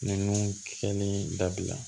Ninnu kɛlen dabila